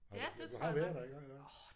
Har du jo du har været der iggå iggå